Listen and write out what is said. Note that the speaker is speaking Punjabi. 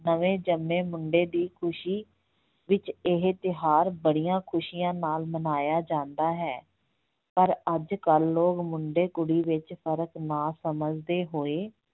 ਨਵੇਂ ਜਨਮੇ ਮੁੰਡੇ ਦੀ ਖੁਸੀ ਵਿੱਚ ਇਹ ਤਿਉਹਾਰ ਬੜੀਆਂ ਖੁਸੀਆਂ ਨਾਲ ਮਨਾਇਆ ਜਾਂਦਾ ਹੈ, ਪਰ ਅੱਜ ਕੱਲ੍ਹ ਲੋਕ ਮੁੰਡੇ ਕੁੜੀ ਵਿੱਚ ਫਰਕ ਨਾ ਸਮਝਦੇ ਹੋਏ